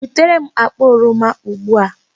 Butere m akpa oroma ugbu a!